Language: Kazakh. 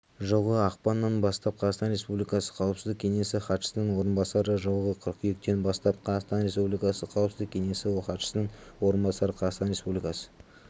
жылғы ақпаннан бастап қазақстан республикасы қауіпсіздік кеңесі хатшысының орынбасары жылғы қыркүйектен бастап қазақстан республикасы қауіпсіздік кеңесі хатшысының орынбасары қазақстан республикасы